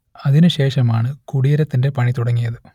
അതിനുശേഷമാണ് കുടീരത്തിന്റെ പണി തുടങ്ങിയത്